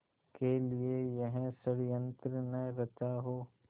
के लिए यह षड़यंत्र न रचा हो